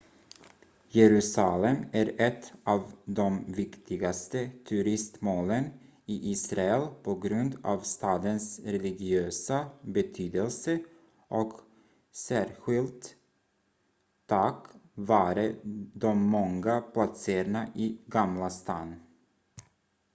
jerusalem är ett av de viktigaste turistmålen i israel på grund av stadens religiösa betydelse och särskilt tack vare de många platserna i gamla stan